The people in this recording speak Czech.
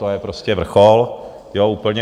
To je prostě vrchol, jo, úplně.